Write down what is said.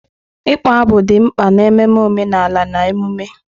Ịkpọ abụ dị mkpa n'ememe omenala na emume.